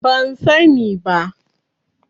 Ban sani ba.